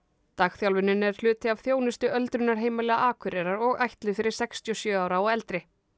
dagþjálfunin er hluti af þjónustu öldrunarheimila Akureyrar og ætluð fyrir sextíu og sjö ára og eldri